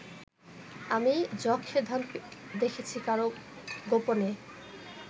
আমি যক্ষের ধন দেখেছি কারও, গোপনে